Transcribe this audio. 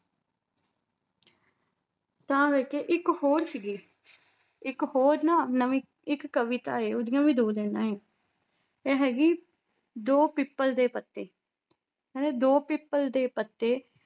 ਤਾਂ ਕਰਕੇ ਇੱਕ ਹੋਰ ਸੀਗੀ, ਇੱਕ ਹੋਰ ਨਾ ਨਵੀਂ ਇੱਕ ਕਵਿਤਾ ਹੈ ਉਹਦੀਆਂ ਵੀ ਦੋ ਲਾਇਨਾਂ ਹੈ ਇਹ ਹੈਗੀ ਦੋ ਪਿੱਪਲ ਦੇ ਪੱਤੇ, ਕਹਿੰਦੇ ਦੋ ਪਿੱਪਲ ਦੇ ਪੱਤੇ